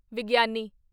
ਵਿਗਿਆਨੀ